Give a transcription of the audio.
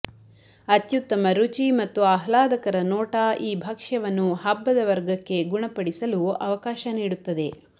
ಅತ್ಯುತ್ತಮ ರುಚಿ ಮತ್ತು ಆಹ್ಲಾದಕರ ನೋಟ ಈ ಭಕ್ಷ್ಯವನ್ನು ಹಬ್ಬದ ವರ್ಗಕ್ಕೆ ಗುಣಪಡಿಸಲು ಅವಕಾಶ ನೀಡುತ್ತದೆ